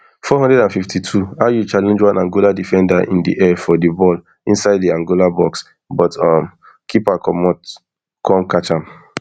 four hundred and fifty-two ayew challenge one angola defender in di air for di ball inside di angola box but um keeper comot come catch am